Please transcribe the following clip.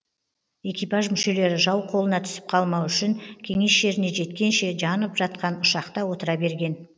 экипаж мүшелері жау қолына түсіп қалмау үшін кеңес жеріне жеткенше жанып жатқан ұшақта отыра берген